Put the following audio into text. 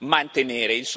mantenere.